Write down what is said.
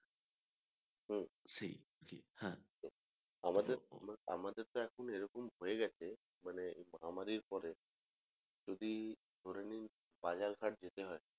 হম সেই হ্যাঁ হম আমাদের তো এখন এরকম হয়ে গেছে মানে মহামারীর পরে যদি ধরে নিন বাজার ঘাট যেতে হয়